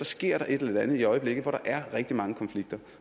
sker der et eller andet i øjeblikket hvor der er rigtig mange konflikter